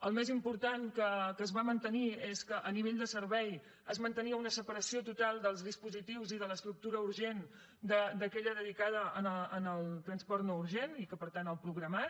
el més important que es va mantenir és que a nivell de servei es mantenia una separació total dels dispositius i de l’estructura urgent d’aquella dedicada al transport no urgent i per tant el programat